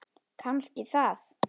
Kannski það.